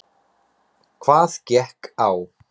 Hvað gekk á?